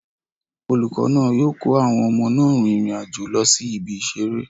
Olùkọ́ náà yóò kó àwọn ọmọ náà rin ìrìn àjò lọ sí ibi ìseré